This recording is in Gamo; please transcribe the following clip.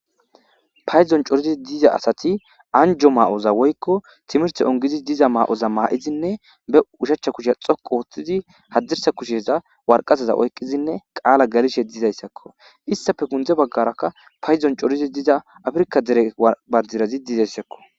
Payddon coridi dizza asati anjjo mayoza woykko timirtte onggidi diiza mayoza mayidi be ushshachcha kushshe dhoqqu oththidi hadirssa kushshen waraqataza oyqqidi qaala gellishe iizayssako izzetappe sinththe baggara payddon cori diza affirkka banddiray dizayssako.